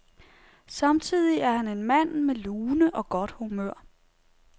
Samtidig er han en mand med lune og godt humør.